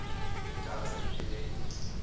e ka tswe e le